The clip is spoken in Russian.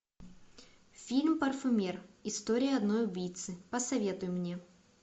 фильм парфюмер история одной убийцы посоветуй мне